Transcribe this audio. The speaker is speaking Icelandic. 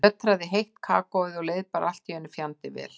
Ég sötraði heitt kakóið og leið bara allt í einu fjandi vel.